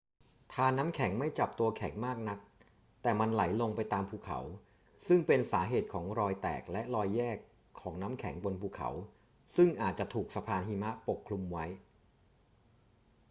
ธารน้ำแข็งไม่จับตัวแข็งมากนัก แต่มันไหลลงไปตามภูเขา ซึ่งเป็นสาเหตุของรอยแตกและรอยแยกของน้ำแข็งบนภูเขา ซึ่งอาจจะถูกสะพานหิมะปกคลุมไว้